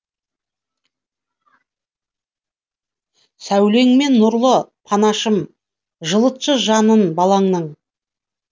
сәулеңмен нұрлы панашым жылытшы жанын балаңның